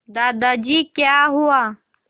दादाजी क्या हुआ